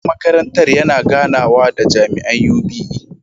Shugaban makarantar yana ganawa da jami’an UBE.